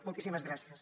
moltíssimes gràcies